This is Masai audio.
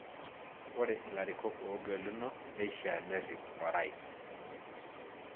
Ore ilarikok oogeluno neishiaa nerip Orais.